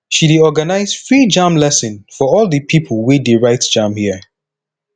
she dey organize free jamb lesson for all di pipo wey dey write jamb here